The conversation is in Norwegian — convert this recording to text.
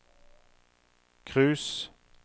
cruise